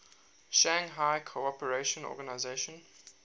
shanghai cooperation organization